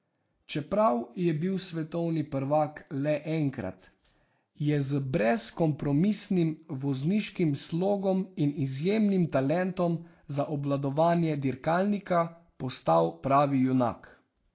Čeprav je bil svetovni prvak le enkrat, je z brezkompromisnim vozniškim slogom in izjemnim talentom za obvladovanje dirkalnika postal pravi junak.